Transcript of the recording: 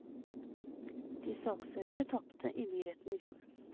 De saksøkte tapte i byretten i fjor.